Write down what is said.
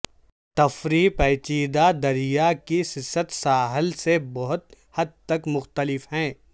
تفریح پیچیدہ دریا کی سست ساحل سے بہت حد تک مختلف ہے